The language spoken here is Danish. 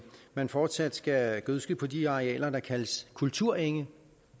man fortsat skal gødske på de arealer der kaldes kulturenge